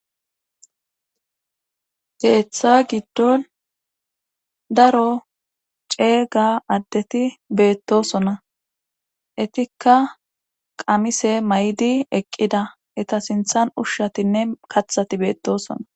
Keetha giddon daro ceega addeti beettosona etikka qamise mayidi eqqida eta sinthan ushatinne kathati beettoosona.